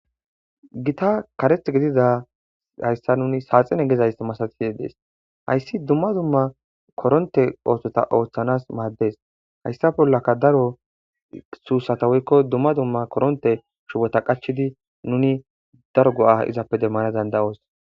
gita kareth gidida hayssa nuni saaxine gezaysa masati yedees hayssi dumma dumma koronte ootota ooththanas maaddes hayssa bollaka daro suusata wuykko dumma dumma koronte shubota qachidi nuni daro go7aa izappe demmana danda7oos